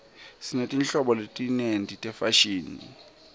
sinetinhlobo letinyenti tefashini